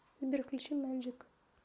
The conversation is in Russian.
сбер включи мэджик